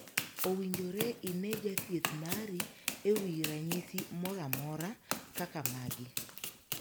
Owinjore inee jathieth mari e wii ranyisi moro amora kaka magi.